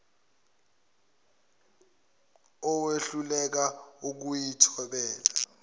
owehluleka ukuyi thobela